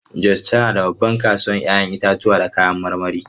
Jos tana da babbar kasuwar 'ya'yan itatuwa da kayan marmari.